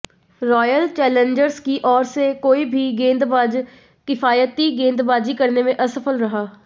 royal Challengers की ओर से कोई भी गेंदबाज किफायती गेंदबाजी करने में असफल रहा